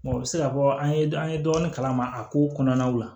o bɛ se ka fɔ an ye an ye dɔɔnin kalama a kow kɔnɔnaw la